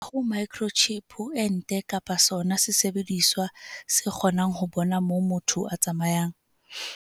Ha ho microchip ho ente kapa sona sesebediswa se kgonang ho bona moo motho a tsamayang.